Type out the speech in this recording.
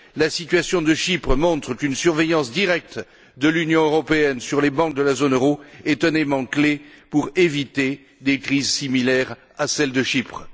La situation de Chypre montre qu'une surveillance directe de l'Union européenne sur les banques de la zone euro est un élément clé pour éviter des crises similaires à celle de Chypre.